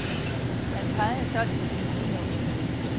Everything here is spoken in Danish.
Han pegede stolt på sin guldnålen.